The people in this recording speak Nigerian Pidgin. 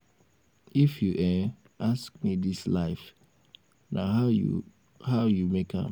if you um ask me dis life na how you how you make am.